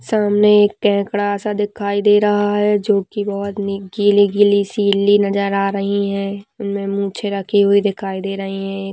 सामने एक केकड़ा सा दिखाई दे रहा है जो की बहुत गीली गीली सी ईली नजर आ रही है इनमे मूछें रखी हुई दिखाई दे रही हैं।